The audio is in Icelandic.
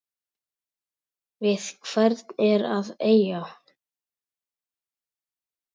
Við hvern er að eiga?